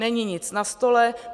Není nic na stole.